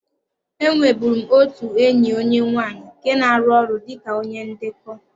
E nweburu m otu enyi onye nwanyị nke na-arụ ọrụ dị ka onye ndekọ.